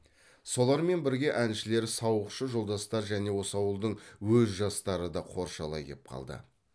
солармен бірге әншілер сауықшы жолдастар және осы ауылдың өз жастары да қоршалай кеп қалды